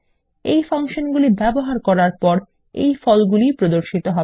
এই ফাংশনগুলি ব্যবহার করার পর এই ফলাফলগুলি প্রদর্শিত হবে